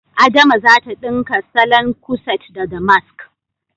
Adama zata ɗinka salon kuset da damask